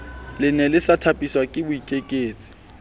lene le sa thapiswake boikaketsi